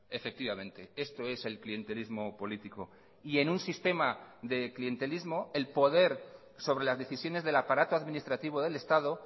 efectivamente esto es el clientelismo político y en un sistema de clientelismo el poder sobre las decisiones del aparato administrativo del estado